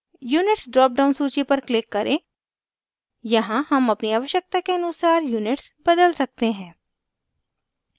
units drop down सूची पर click करें यहाँ हम अपनी आवश्यकता के अनुसार units बदल सकते हैं